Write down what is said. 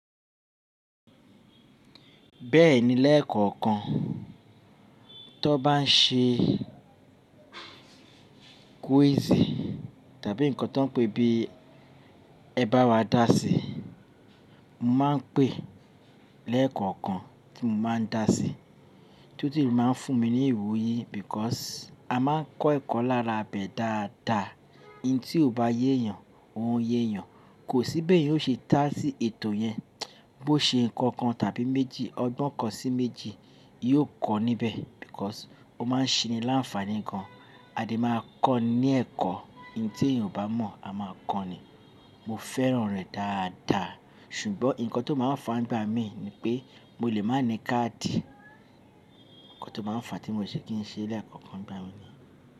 Bẹ́ẹ̀ni lẹ́ẹ̀kọ̀ọ̀kan tó bá ń ṣe quiz tàbí nǹkan tó ń pè bí ẹ bá wa dà sí, mo máa ń pè lẹ́ẹ̀kọ̀ọ̀kan tí mo máa ń dà sí. Tútù máa ń fún mi ní ìwúyí because a máa ń kọ́ ẹ̀kọ́ lárabẹ́ dáadáa. Ihin tí ò bá yé yàn, òùn yé yàn. Kò sí béèyàn ó ṣe dá sí ètò yẹn. Bó ṣe ǹkan kan tàbí méjì, ọgbọ́n kan sí méjì, yóò kọ́ níbẹ̀ because ó máa ń ṣeni láǹfààní gan. A dẹ̀ máa kọ́ ní ẹ̀kọ́, ihin tí èèyàn ò bá mọ̀, a máa kọ́ ni. Mo fẹ́ràn rẹ̀ dáadáa ṣùgbọ́n ǹkan tó máa ń fàá nígbà míì ni pé mo lè má ní káàdì. Nǹkan tó ma ń fà tí mo se kì ń ṣe lẹ́ẹ̀kọ̀ọ̀kan ńgbà míì ni.